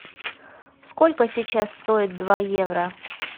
сколько сейчас стоит два евро